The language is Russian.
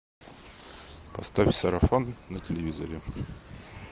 поставь сарафан на телевизоре